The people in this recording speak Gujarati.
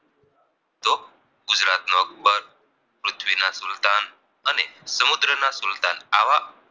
આવા